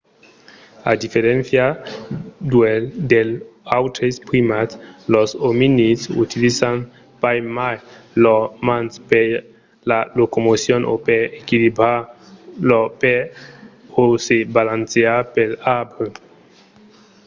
a diferéncia dels autres primats los ominids utilizan pas mai lors mans per la locomocion o per equilibrar lor pes o se balancejar pels arbres